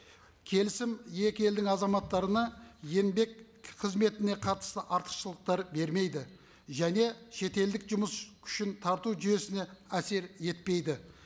келісім екі елдің азаматтарына еңбек қызметіне қатысты артықшылықтар бермейді және шетелдік жұмыс күшін тарту жүйесіне әсер етпейді